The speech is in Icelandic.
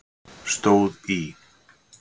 stóð í